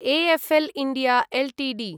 ऎ F L India Ltd